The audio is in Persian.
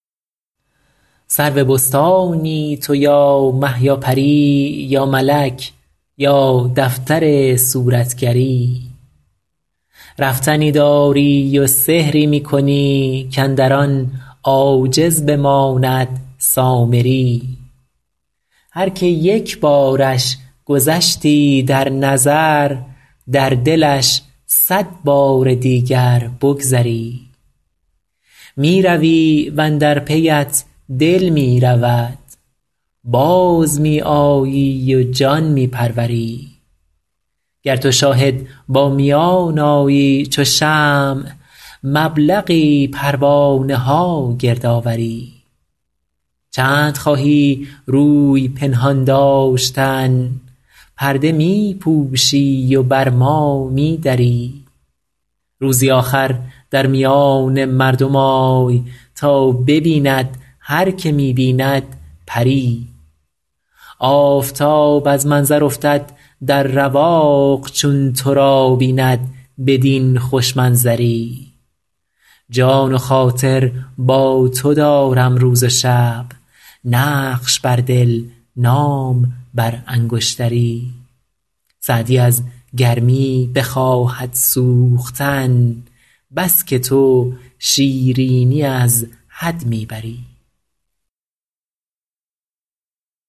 سرو بستانی تو یا مه یا پری یا ملک یا دفتر صورتگری رفتنی داری و سحری می کنی کاندر آن عاجز بماند سامری هر که یک بارش گذشتی در نظر در دلش صد بار دیگر بگذری می روی و اندر پیت دل می رود باز می آیی و جان می پروری گر تو شاهد با میان آیی چو شمع مبلغی پروانه ها گرد آوری چند خواهی روی پنهان داشتن پرده می پوشی و بر ما می دری روزی آخر در میان مردم آی تا ببیند هر که می بیند پری آفتاب از منظر افتد در رواق چون تو را بیند بدین خوش منظری جان و خاطر با تو دارم روز و شب نقش بر دل نام بر انگشتری سعدی از گرمی بخواهد سوختن بس که تو شیرینی از حد می بری